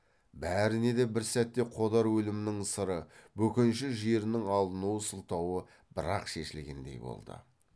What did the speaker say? бәріне де бір сәтте қодар өлімінің сыры бөкенші жерінің алыну сылтауы бір ақ шешілгендей болды